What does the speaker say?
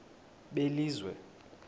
belizwe